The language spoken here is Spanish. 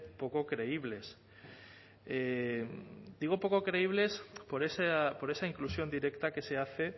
poco creíbles digo poco creíbles por esa inclusión directa que se hace